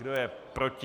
Kdo je proti?